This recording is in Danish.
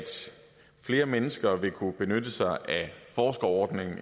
flere mennesker vil kunne benytte sig af forskerordningen